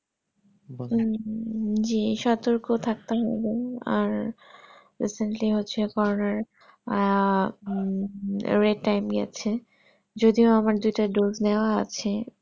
উম যে সতর্ক থাকতে হবে আর recently হচ্ছে আহ উম আছে যদিও আমার দুটা dodge নেওয়া আছে